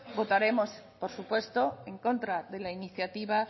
votaremos por supuesto en contra de la iniciativa